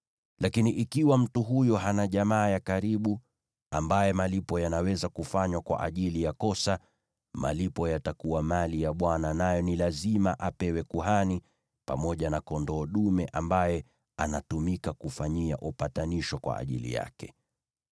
Lakini ikiwa mtu huyo hana jamaa ya karibu ambaye malipo yanaweza kufanywa kwa ajili ya kosa, malipo yatakuwa mali ya Bwana , nayo ni lazima apewe kuhani, pamoja na kondoo dume ambaye anatumika kufanyia upatanisho kwa ajili yake.